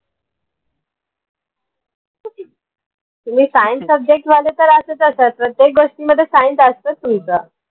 तुम्ही science subject वाले तर असेच असतात प्रत्येक गोष्टींमध्ये science असतेच तुमचं